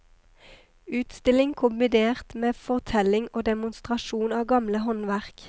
Utstilling kombinert med fortelling og demonstrasjon av gamle håndverk.